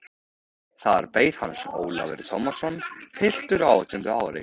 Þar beið hans Ólafur Tómasson, piltur á átjánda ári.